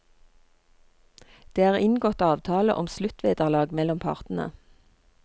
Det er inngått avtale om sluttvederlag mellom partene.